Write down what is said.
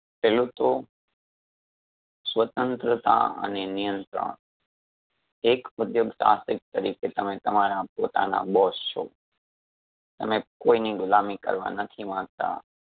પેલુ તો સ્વતંત્રતા અને નિયંત્રણ એક ઉધ્યોગ સાહસિક તરીકે તમે તમારા પોતાનાં boss છો અને કોઇની ગુલામી કરવા નથી માંગતા